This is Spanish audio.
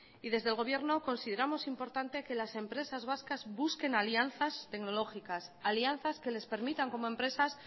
y desde el gobierno consideramos importante que las empresas vascas busquen alianzas tecnológicas alianzas que les permitan como empresas